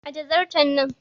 Ajiye zarton nan!